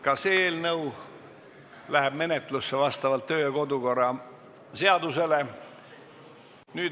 Ka see eelnõu läheb menetlusse vastavalt kodu- ja töökorra seadusele.